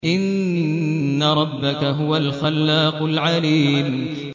إِنَّ رَبَّكَ هُوَ الْخَلَّاقُ الْعَلِيمُ